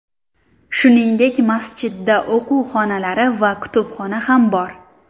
Shuningdek, masjidda o‘quv xonalari va kutubxona ham bor.